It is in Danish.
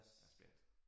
Jeg er spændt